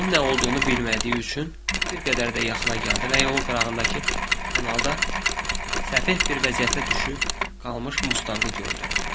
Bunun nə olduğunu bilmədiyi üçün bir qədər də yaxına gəldi və yol qırağındakı kanalda səfeh bir vəziyyətə düşüb qalmış Mustanqı gördü.